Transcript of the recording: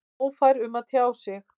Ófær um að tjá sig?